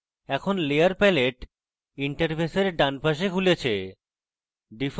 এখন layer palette interface ডান palette খুলেছে